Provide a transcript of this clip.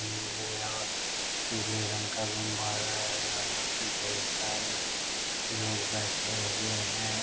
नीले या पीले रंग का रुम्भारा है। यहाँ पे ढेर सारे लोग बैठे हुए हैं।